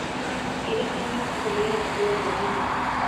Ndirikania kũhũrĩra andũ othe thimũ